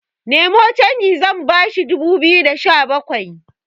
Nemo canji zan bashi dubu biyu da Sha bakwai